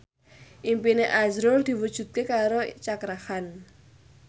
impine azrul diwujudke karo Cakra Khan